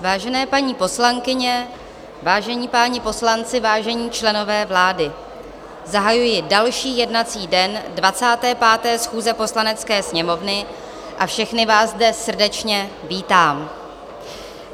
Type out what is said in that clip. Vážené paní poslankyně, vážení páni poslanci, vážení členové vlády, zahajuji další jednací den 25. schůze Poslanecké sněmovny a všechny vás zde srdečně vítám.